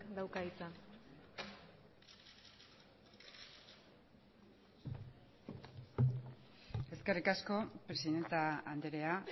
dauka hitza eskerrik asko presidente andrea